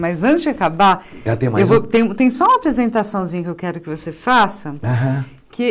Mas antes de acabar, Ah tem mais um Tem tem só uma apresentação que eu quero que você faça. Aham Que